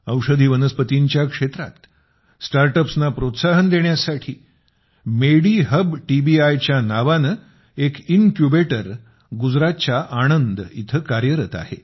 औषधी वनस्पतींच्या क्षेत्रात स्टार्ट अप्सना प्रोत्साहन देण्यासाठी मेडीहब टीबीआय च्या नावाने एक इन्क्युबेटर गुजरातच्या आणंद इथं कार्यरत आहे